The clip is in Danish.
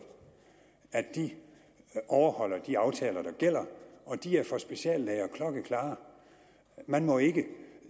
at de overholder de aftaler der gælder og de er for speciallæger klokkeklare man må ikke